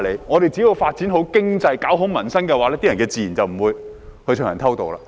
他們只要發展好經濟，搞好民生的話，人們自然不會偷渡。